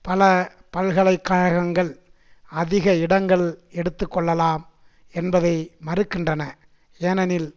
பல பல்கலை கழகங்கள் அதிக இடங்கள் எடுத்து கொள்ளலாம் என்பதை மறுக்கின்றன ஏனெனில்